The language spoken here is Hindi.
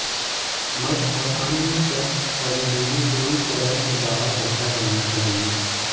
मट और अन्य शब्द परजीवी पूरी तरह से बाहर रखा जाना चाहिए